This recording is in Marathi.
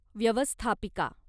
व्यवस्थापिका